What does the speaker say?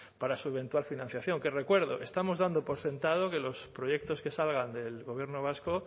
para su eventual financiación que recuerdo estamos dando por sentado que los proyectos que salgan del gobierno vasco